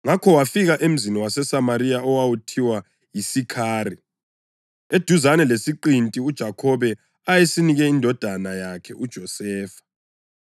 Ngakho wafika emzini waseSamariya owawuthiwa yiSikhari, eduzane lesiqinti uJakhobe ayesinike indodana yakhe uJosefa.